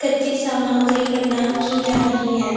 कच्ची सामग्री प्रदान की जा रही हैं।